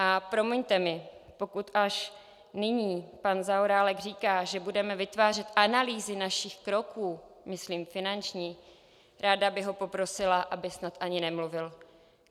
A promiňte mi, pokud až nyní pan Zaorálek říká, že budeme vytvářet analýzy našich kroků, myslím finančních, ráda bych ho poprosila, aby snad ani nemluvil.